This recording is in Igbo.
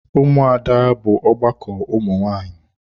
Ụmụada bụ ọgbakọ ụmụ nwanyị.